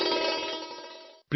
প্ৰধানমন্ত্ৰীঃ জয় হিন্দ জয় হিন্দ